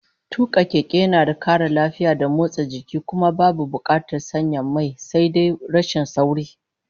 Tuka keke yana da kara lafiya da motsa jiki, kuma babu bukatar sanya mai. Sai dai rashin sauri